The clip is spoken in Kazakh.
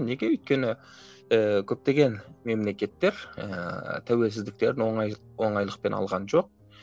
неге өйткені ііі көптеген мемлекеттер ііі тәуелсіздіктерін оңайлық оңайлықпен алған жоқ